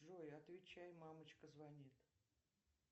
джой отвечай мамочка звонит